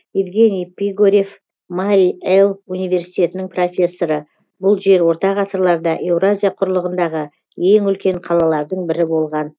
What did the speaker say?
евгений пигорев мари эл университетінің профессоры бұл жер орта ғасырларда еуразия құрлығындағы ең үлкен қалалардың бірі болған